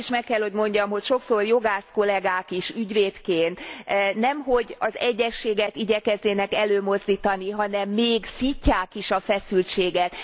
Azt is meg kell, hogy mondjam, hogy sokszor jogász kollégák is ügyvédként nem hogy az egyezséget igyekeznének előmozdítani, hanem még szítják is a feszültséget.